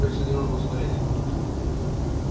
хочется немного посмотреть